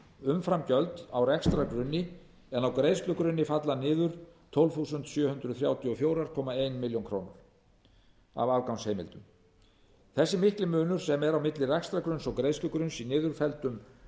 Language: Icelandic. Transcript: umframgjöld á rekstrargrunni en á greiðslugrunni falla niður tólf þúsund sjö hundruð þrjátíu og fjögur komma eina milljón króna afgangsheimildir þessi mikli munur sem er á milli rekstrargrunns og greiðslugrunns í niðurfelldum